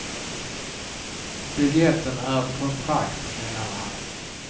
Biljetten är ett kontrakt, menade han.